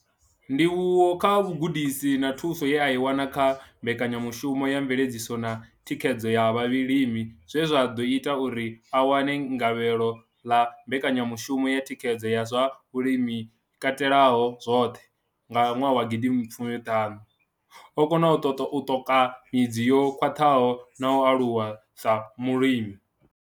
Ndivhuwo kha vhugudisi na thuso ye a i wana kha Mbekanya mushumo ya Mveledziso na Thikhedzo ya Vhalimi zwe zwa ḓo ita uri a wane gavhelo ḽa Mbekanyamushumo ya Thikhedzo ya zwa Vhulimi yo Katelaho zwoṱhe nga ṅwaha wa gidi mbili fumi ṱhanu, o kona u ṱoka midzi yo khwaṱhaho na u aluwa sa mulimi.